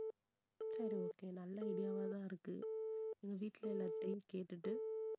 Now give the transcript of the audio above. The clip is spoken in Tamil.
சரி okay நல்ல idea வா தான் இருக்கு வீட்டுல எல்லார்கிட்டயும் கேட்டுட்டு